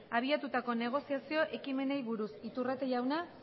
abiatutako negoziazio ekimenei buruz iturrate jauna